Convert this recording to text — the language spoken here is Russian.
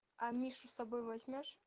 а мишу с собой возьмёшь